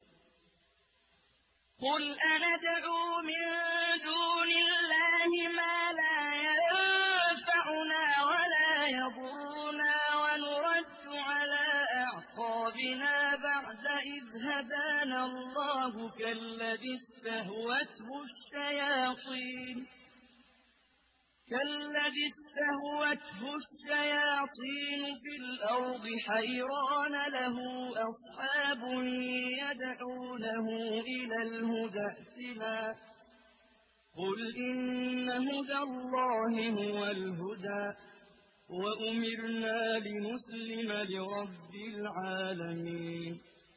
قُلْ أَنَدْعُو مِن دُونِ اللَّهِ مَا لَا يَنفَعُنَا وَلَا يَضُرُّنَا وَنُرَدُّ عَلَىٰ أَعْقَابِنَا بَعْدَ إِذْ هَدَانَا اللَّهُ كَالَّذِي اسْتَهْوَتْهُ الشَّيَاطِينُ فِي الْأَرْضِ حَيْرَانَ لَهُ أَصْحَابٌ يَدْعُونَهُ إِلَى الْهُدَى ائْتِنَا ۗ قُلْ إِنَّ هُدَى اللَّهِ هُوَ الْهُدَىٰ ۖ وَأُمِرْنَا لِنُسْلِمَ لِرَبِّ الْعَالَمِينَ